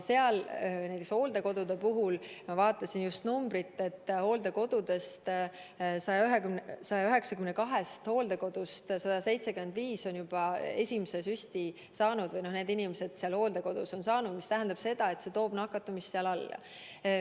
Näiteks ma vaatasin just järele, et 192 hooldekodust 175 on juba esimesed süstid oma inimestele andnud, mis tähendab seda, et see toob nakatumise hooldekodudes alla.